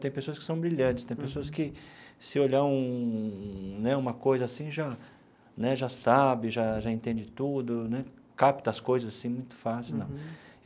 Tem pessoas que são brilhantes, tem pessoas que, se olhar um um né uma coisa assim, já né já sabe, já já entende tudo né, capta as coisas assim muito fácil. Uhum.